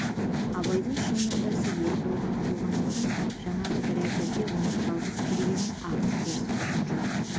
абайдың шын мұндасы ербол ғана болғандықтан жаңағы бір әзірде оның жалғыз келгенін ақын теріс көрген жоқ